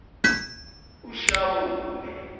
ushawule